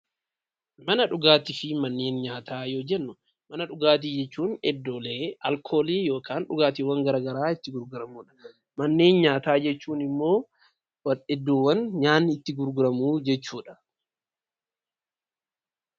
Manneen dhugaatiifi manneen nyaata yeroo jennu, manneen dhugaatii jechuun iddoolee alkoolii yookaan dhugaatileen garagaraa itti gurguramudha. Manneen nyaataa jechuun ammoo iddoowwan nyaanni itti gurguramu jechuudha.